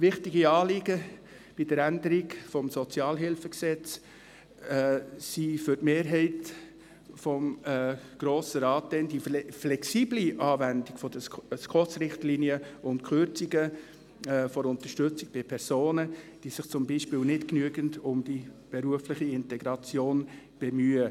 Wichtige Anliegen bei der Änderung des SHG waren für die Mehrheit des Grossen Rates die flexible Anwendung der SKOS-Richtlinien und die Kürzungen der Unterstützung von Personen, die sich zum Beispiel nicht genügend um die berufliche Integration bemühen.